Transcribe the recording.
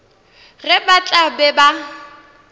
ge ba tla be ba